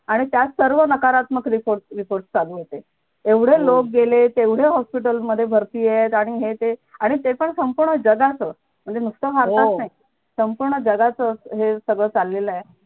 आणि त्या सर्व नकारात्मक report report चालू होते एवढे लोक गेले तेवढे hospital मधे भरतीयेत आणि हे ते आणि ते पण संपूर्ण जगाचं म्हणजे नुकतं संपूर्ण जगाचं हे सगळं चाललेलए